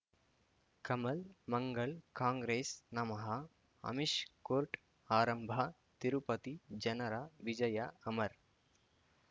ಕಮಲ್ ಮಂಗಳ್ ಕಾಂಗ್ರೆಸ್ ನಮಃ ಅಮಿಷ್ ಕೋರ್ಟ್ ಆರಂಭ ತಿರುಪತಿ ಜನರ ವಿಜಯ ಅಮರ್